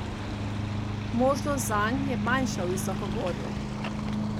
Možnost zanj je manjša v visokogorju.